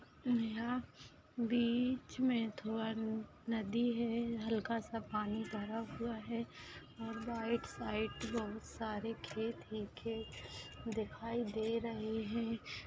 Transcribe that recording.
यहा बीच मे थोड़ा नदी है हल्का सा पानी भरा हुवा है और राइट साइड बहुत सारे खेत हे खेत दिखाई दे रहे है।